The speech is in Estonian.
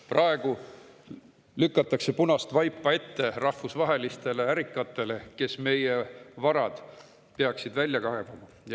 Praegu lükatakse punast vaipa ette rahvusvahelistele ärikatele, kes peaksid meie varad välja kaevama.